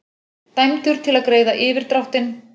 Dæmdur til að greiða yfirdráttinn